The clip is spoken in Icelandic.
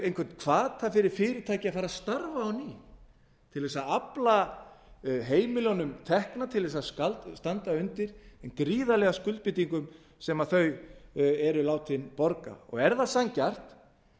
einhvern hvata fyrir fyrirtæki að starfa á ný til að afla heimilunum tekna til að standa undir þeim gríðarlegu skuldbindingum sem þau eru látin borga er það sanngjarnt að